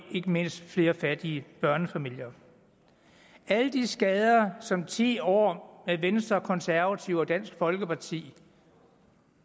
mindst flere fattige børnefamilier alle de skader som ti år med venstre og konservative og dansk folkeparti